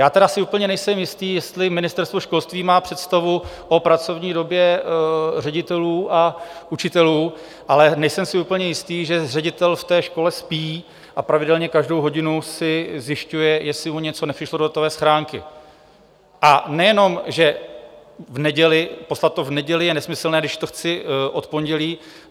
Já tedy si úplně nejsem jistý, jestli Ministerstvo školství má představu o pracovní době ředitelů a učitelů, ale nejsem si úplně jistý, že ředitel v té škole spí a pravidelně každou hodinu si zjišťuje, jestli mu něco nepřišlo do datové schránky, a nejenom že poslat to v neděli je nesmyslné, když to chci od pondělí.